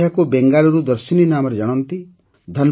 ଲୋକ ଏହାକୁ ବେଙ୍ଗାଲୁରୁ ଦର୍ଶିନୀ ନାମରେ ଜାଣନ୍ତି